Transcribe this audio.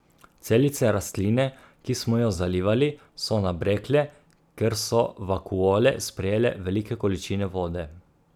Celice rastline, ki smo jo zalivali, so nabrekle, ker so vakuole sprejele velike količine vode.